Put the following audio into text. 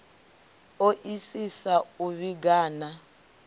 o isisa u vhiga na